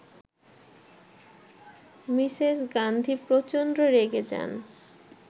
Mrs Gandhi প্রচন্ড রেগে যান